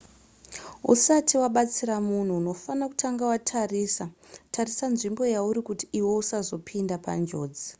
usati wabatsira munhu unofanira kutanga watarisa tarisa nzvimbo yauri kuti iwe usazopinda panjodzi